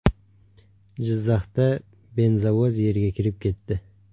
Jizzaxda benzovoz yerga kirib ketdi.